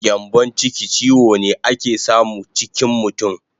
Gyambon chiki chiwo ne ake samu chikin mutun